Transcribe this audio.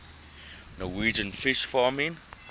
norwegian fish farming